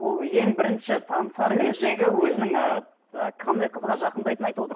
ол ең бірінші танысар кездегі өзінің ііі і қандай қызға жақындайтынын айтып отыр